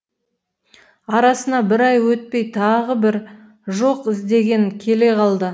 арасына бір ай өтпей тағы бір жоқ іздеген келе қалды